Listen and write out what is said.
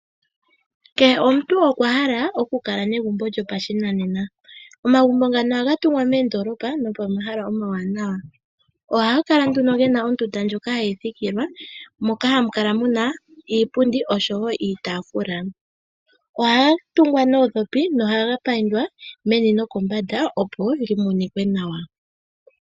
Kehe omuntu okwa hala oku okala negumbo lyo pashinanena. Omagumbo ngano ohaga tungwa moondolopa no po mahala omawanawa. Ohaga kala nduno gena ondunda ndjoka hayi thikilwa moka hamu kala muna iipundi nosho woo iitafula. Ohaga tungwa noodhopi, no haga paindwa meni no kombanda opo li monike nawa.